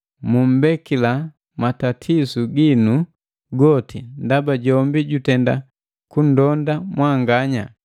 Mumbekila matatisu ginu goti, ndaba jombi jutenda kundonda mwanganya.”